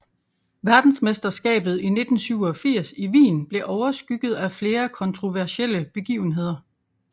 Verdensmesterskabet i 1987 i Wien blev overskygget af flere kontroversielle begivenheder